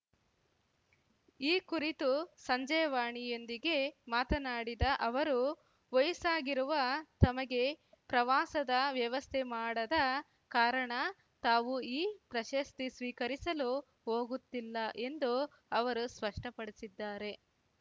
ಈ ಕುರಿತು ಸಂಜೆವಾಣಿ ಯೊಂದಿಗೆ ಮಾತನಾಡಿದ ಅವರು ವಯಸ್ಸಾಗಿರುವ ತಮಗೆ ಪ್ರವಾಸದ ವ್ಯವಸ್ಥೆ ಮಾಡದ ಕಾರಣ ತಾವು ಈ ಪ್ರಶಸ್ತಿ ಸ್ವೀಕರಿಸಲು ಹೋಗುತ್ತಿಲ್ಲ ಎಂದು ಅವರು ಸ್ಪಷ್ಟಪಡಿಸಿದ್ದಾರೆ